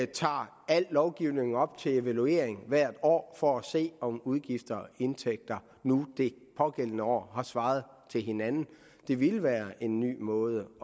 tager al lovgivning op til evaluering hvert år for at se om udgifter og indtægter det pågældende år har svaret til hinanden det ville være en ny måde